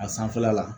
A sanfɛla la